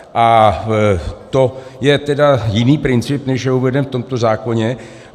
A to je tedy jiný princip, než je uveden v tomto zákoně.